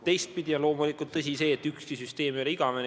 Teistpidi on loomulik, et ükski süsteem ei ole igavene.